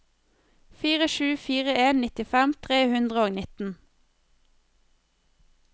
fire sju fire en nittifem tre hundre og nitten